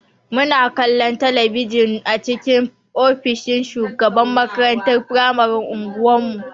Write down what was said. Muna kallon talabijin a cikin ofishin shugaban makarantar firamaren unguwan mu.